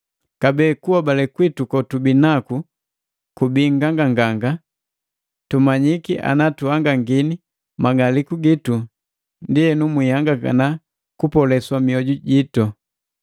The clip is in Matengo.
Kabee, kunhobale kwitu kotubi naku kubii nganganganga, tumanyiki ana tuhangangini mang'aliku gitu, ndienu mwihangangana kupoleswa mioju jitu.